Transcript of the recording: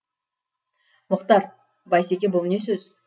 мұхтар бейсеке бұл не сөз